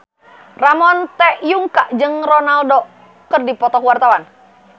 Ramon T. Yungka jeung Ronaldo keur dipoto ku wartawan